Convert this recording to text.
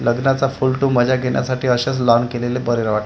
लग्नाचा full to मजा घेण्यासाठी असेच लांब केलेले बरे वा--